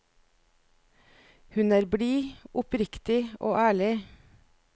Hun er blid, oppriktig og ærlig.